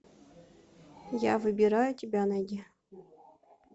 я выбираю тебя найди